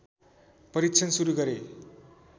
परीक्षण सुरु गरे